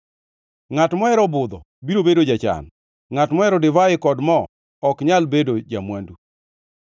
Ngʼat mohero budho biro bedo jachan; ngʼat mohero divai kod moo ok nyal bedo ja-mwandu.